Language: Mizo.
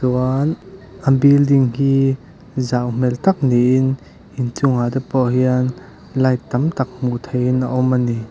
chuan a building hi zau hmêl tak niin inchungah te pawh hian light tam tak hmuh theihin a awm a ni.